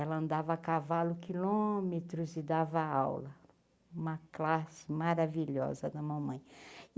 Ela andava a cavalo quilômetros e dava aula, uma classe maravilhosa a da mamãe.